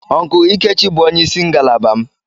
Uncle lkechi bu onye isi ngalaba m.